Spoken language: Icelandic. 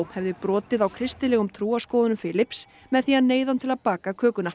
hefði brotið á kristilegum trúarskoðunum með því að neyða hann til að baka kökuna